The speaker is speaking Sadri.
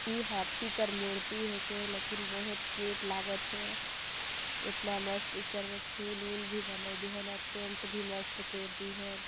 ए हाथी कर मूर्ति हे के लेकिन बहुत क्यूट लागत हे इतना मस्त इकर म फूल वूल भी बने दिहेन अऊ पैंट भी मस्त कर दी है।